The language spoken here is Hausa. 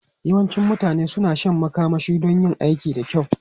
Yawancin mutane suna shan makamashi don yin aiki da kyau.